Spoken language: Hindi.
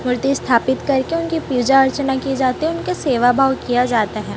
मूर्ति स्थापित करके उनकी पूजा अर्चना किए जाते हैं उनके सेवा भाव किया जाता है।